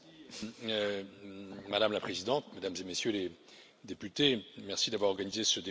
Madame la Présidente, Mesdames et Messieurs les députés, merci d'avoir organisé ce débat si rapidement.